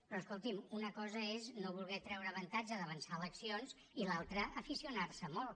però escolti’m una cosa és no voler treure avantatge d’avançar eleccions i l’altre aficionar s’hi molt